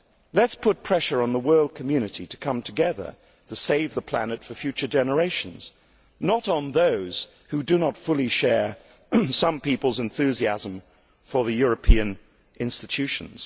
Let us put pressure on the world community to come together to save the planet for future generations, not on those who do not fully share the enthusiasm of some people for the European institutions.